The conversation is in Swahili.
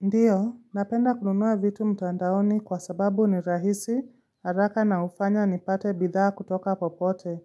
Ndiyo, napenda kununua vitu mtandaoni kwa sababu ni rahisi, haraka na hufanya ni pate bidhaa kutoka popote.